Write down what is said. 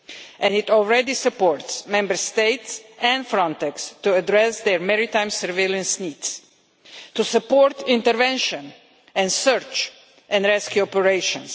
And it already supports Member States and Frontex to address their maritime surveillance needs, to support intervention and search and rescue operations.